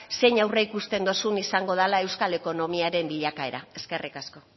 zein aurreikusten duzu izango dela euskal ekonomiaren bilakaera eskerrik asko